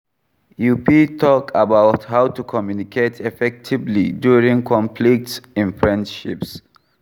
You fit talk about how to communicate effectively during conflicts in friendships.